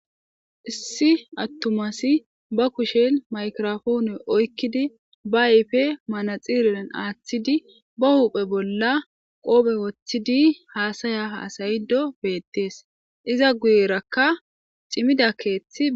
Issi attumasi ba kushel maykirofoone oykkidi ba ayfe manaxiriran aaththidi ba huuphe bolla qoobe woththidi haasaya haasayido beettees iza guyerakka cimida keeththi.